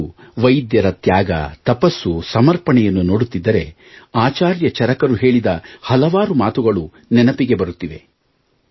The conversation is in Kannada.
ಇಂದು ವೈದ್ಯರ ತ್ಯಾಗ ತಪಸ್ಸು ಸಮರ್ಪಣೆಯನ್ನು ನೋಡುತ್ತಿದ್ದರೆ ಆಚಾರ್ಯ ಚರಕರು ಹೇಳಿದ ಹಲವಾರು ಮಾತುಗಳು ನೆನಪಿಗೆ ಬರುತ್ತಿವೆ